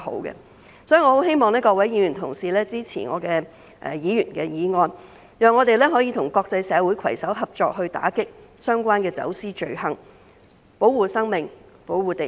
因此，我十分希望各位議員同事支持我的議員法案，讓我們可以與國際社會攜手合作，打擊相關的走私罪行，保護生命、保護地球。